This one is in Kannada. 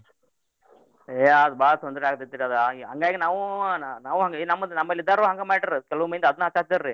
ಏ ಅದು ಬಾಳ್ ತೊಂದ್ರೆ ಆಕ್ತೇತ್ರೀ ಅದು ಆಗಿ ಹಂಗಾಗಿ ನಾವೂ ನಾವೂ ಹಂಗ ನಮ್ದ ನಮ್ಮಲ್ಲಿದ್ದೋರು ಹಂಗ ಮಾಡಿರ್ರು ಕೆಲ್ವ್ ಮಂದಿ ಅದ್ನ ಹಚ್ಚಾತ್ತೀರ್ರೀ.